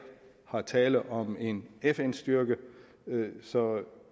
er tale om en fn styrke så